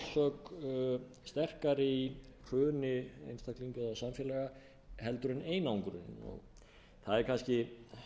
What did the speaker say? orsök sterkari í hruni einstaklinga eða samfélaga heldur en einangrunin það er kannski